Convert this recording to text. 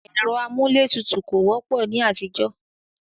ẹ̀rọ amúlé tutù kò wọ́pọ̀ ní àtijọ́.